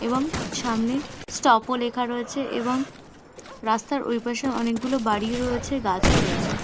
এবং সামনে স্টপ -ও লেখা রয়েছে এবং রাস্তার ওইপাশে অনেকগুলো বাড়িও রয়েছে গাছও রয়েছে।